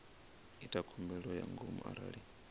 ita khumbelo ya ngomu arali